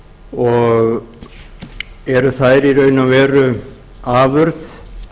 og eru þær í raun og veru afurð